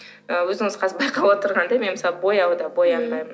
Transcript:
ы өзіңіз қазір байқап отырғандай мен мысалы бояу да боянбаймын